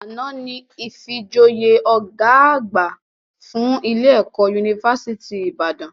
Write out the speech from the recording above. Àná ni ìfijoyè ọ̀gá àgbà fún ilé - ẹ̀kọ́ unifásítì Ìbàdàn